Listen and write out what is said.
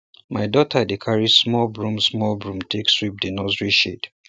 my daughter dey carry small broom small broom take sweep di nursery shed